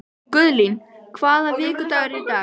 Guðlín, hvaða vikudagur er í dag?